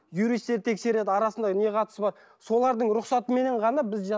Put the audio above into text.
юристтер тексереді арасында не қатысы бар солардың рұқсатыменен ғана біз